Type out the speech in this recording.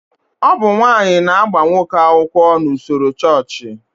Ọ bụ nwaanyị na-agba nwoke akwụkwọ n'usoro chọọchị